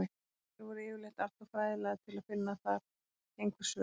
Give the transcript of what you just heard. Þær voru yfirleitt alltof fræðilegar til að finna þar einhver svör.